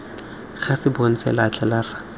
ga se bontshe letlha la